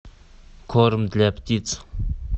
корм для птиц